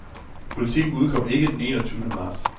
Politiken udkom ikke den en og tyvende marts.